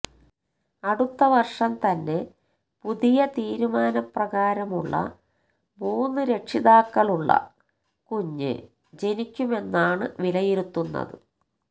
അടുത്ത വര്ഷം തന്നെ പുതിയ തീരുമാനപ്രകാരമുള്ള മൂന്ന് രക്ഷിതാക്കളുള്ള കുഞ്ഞ് ജനിക്കുമെന്നാണ് വിലയിരുത്തുന്നത്